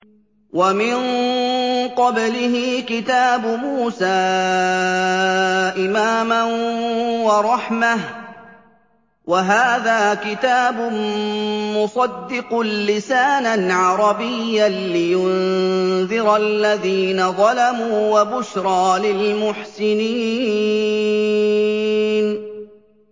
وَمِن قَبْلِهِ كِتَابُ مُوسَىٰ إِمَامًا وَرَحْمَةً ۚ وَهَٰذَا كِتَابٌ مُّصَدِّقٌ لِّسَانًا عَرَبِيًّا لِّيُنذِرَ الَّذِينَ ظَلَمُوا وَبُشْرَىٰ لِلْمُحْسِنِينَ